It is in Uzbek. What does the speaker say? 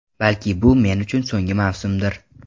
Balki, bu men uchun so‘nggi mavsumdir.